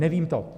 Nevím to.